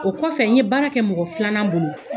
O kɔfɛ n ye baara kɛ mɔgɔ filanan bolo.